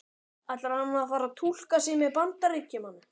Ætlar hann að fara að túlka sig sem Bandaríkjamann?